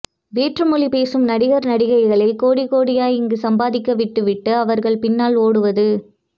வேற்று மொழி பேசும் நடிகர் நடிகைகளை கோடி கோடியாய் இங்கு சம்பாதிக்கவிட்டுவிட்டு அவர்கள் பின்னால் ஓடுவது